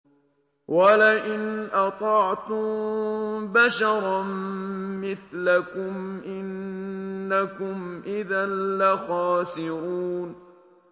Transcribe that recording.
وَلَئِنْ أَطَعْتُم بَشَرًا مِّثْلَكُمْ إِنَّكُمْ إِذًا لَّخَاسِرُونَ